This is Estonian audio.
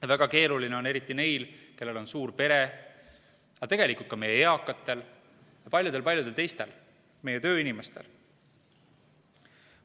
Ja väga keeruline on eriti neil, kellel on suur pere, aga tegelikult ka meie eakatel ja paljudel-paljudel teistel meie tööinimestel.